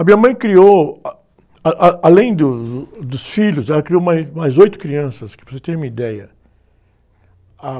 A minha mãe criou, ah, ah, ah, além do, dos filhos, ela criou mais, mais oito crianças, para você ter uma ideia. Ah...